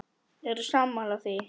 Eru sammála því?